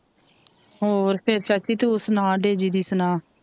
ਹੋਰ ਫੇਰ ਚਾਚੀ ਤੂ ਸਨਾ ਡੇਜੀ ਦੀ ਸਨਾ,